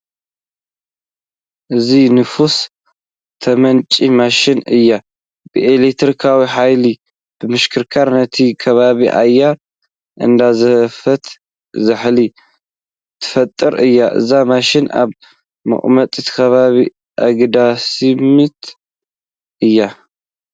እዚኣ ንፋስ ተመንጩ ማሽን እያ፡፡ ብኤለክትሪክ ሓይሊ ብምሽክርካር ነቲ ከባቢ ኣየር እንዳቐዘፈት ዛሕሊ ትፈጥር እያ፡፡ እዛ ማሽን ኣብ ሙቐት ከባቢ ኣገዳሲት እያ፡፡